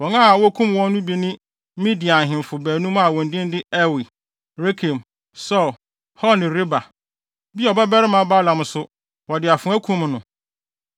Wɔn a wokum wɔn no bi ne Midian ahemfo baanum a wɔn din de Ewi, Rekem, Sur, Hur ne Reba. Beor babarima Balaam nso, wɔde afoa kum no.